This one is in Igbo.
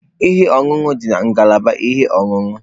Ihe ọṅụṅụ dị na ngalaba ihe ọṅụṅụ.